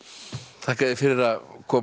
þakka þér fyrir að koma í